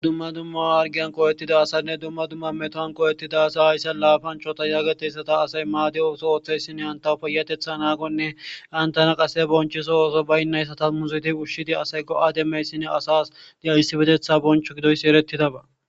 Dumma dumma awargiyan qoo'ettida asanne dumma dumma metohan qo'ettida asa hayssa laafanchota yageteyssata asay maadi ooso ooththeysine hantaw payatetha naaqonne antana qase bonchiso ooso baynnayssata muziti ushshidi asay go'ademeyssinne asas di'a issibetetha boncho gidoyssi erettidaba.